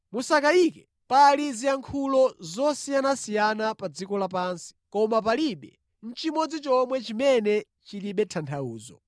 Mosakayika, pali ziyankhulo zosiyanasiyana pa dziko lapansi, koma palibe nʼchimodzi chomwe chimene chilibe tanthauzo.